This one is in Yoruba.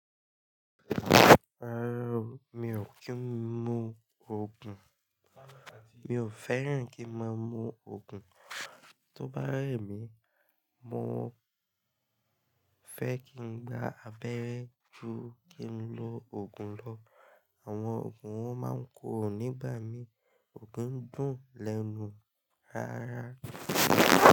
Rárá, mi ò kí ń mu òògùn. Mi ò fẹ́ràn kí máa mu òògùn. Tó bá rẹ̀ mí, mo fẹ́ kí ń gba abẹ́rẹ́ ju kí n lo òògùn lọ. Àwọn òògùn won máa ń kọ́ro ò nígbà mí. Ko ki ń dùn lẹ́nu rárá.